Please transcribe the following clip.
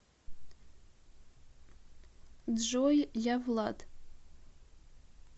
джой я влад